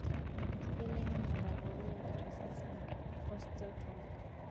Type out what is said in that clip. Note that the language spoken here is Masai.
Enkibelekenyata ooloik tosesen(osteotomy).